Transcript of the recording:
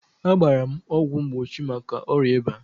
A gbara m ọgwụ mgbochi maka ọrịa ịba.